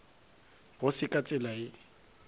go se ka tsela ye